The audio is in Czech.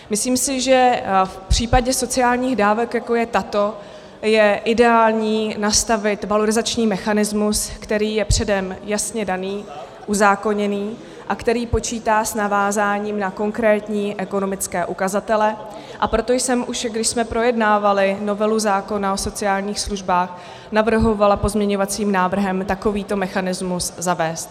Myslím si, že v případě sociálních dávek, jako je tato, je ideální nastavit valorizační mechanismus, který je předem jasně daný, uzákoněný a který počítá s navázáním na konkrétní ekonomické ukazatele, a proto jsem, už když jsme projednávali novelu zákona o sociálních službách, navrhovala pozměňovacím návrhem takovýto mechanismus zavést.